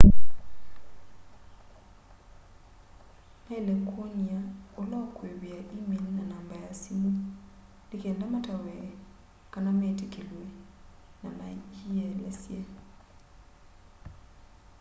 mailite kwonia ula ukũivia e-mail na namba ya simu ni kenda matawe/ metikilwe na menyielesye